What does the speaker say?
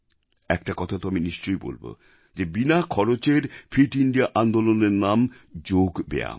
একটা কথা তো আমি নিশ্চয় বলবো যে বিনা খরচের ফিট ইন্দিয়া আন্দোলনের নাম যোগ ব্যায়াম